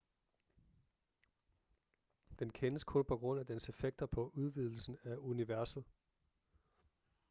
den kendes kun på grund af dens effekter på udvidelsen af universet